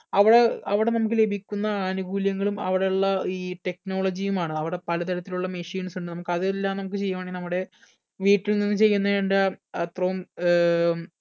അവ്ടെ അവിടെ നമ്മക്ക് ലഭിക്കുന്ന ആനുകൂല്യങ്ങളും അവ്ടെ ഉള്ള ഈ technology യുമാണ് അവ്ടെ പല തരത്തിലുള്ള machines ഉണ്ട് നമുക്ക് അതെല്ലാം നമ്മക്ക് ചെയ്യുവാണേൽ നമ്മുടെ വീട്ടിൽ നിന്ന് ചെയ്യുന്ന ഇണ്ട് അപ്രം ഏർ